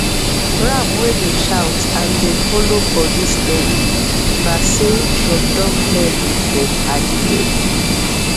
ram wey dey shout and dey follow body steady na say dem don blend with dem padi dem